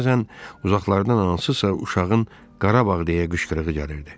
Bəzən uzaqlardan hansısa uşağın Qarabağ deyə qışqırığı gəlirdi.